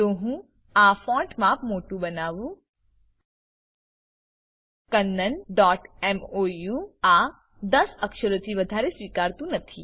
લો હું આ ફોન્ટ માપ મોટુ બનાવું kannanમોઉ આ ૧૦ અક્ષરોથી વધારે સ્વીકારતું નથી